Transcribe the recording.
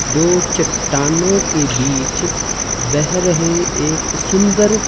दो चट्टानों के बीच बह रहे एक सुंदर--